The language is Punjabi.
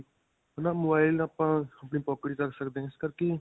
ਹੈ ਨਾ. mobile ਆਪਾਂ ਆਪਣੀ pocket 'ਚ ਰੱਖ ਸਕਦੇ ਹਾਂ. ਇਸ ਕਰਕੇ